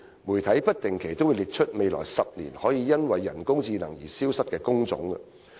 媒體不定期都會列出未來10年可能會因人工智能而消失的工種。